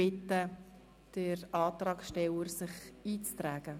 Ich bitte den Antragsteller, sich in die Rednerliste einzutragen.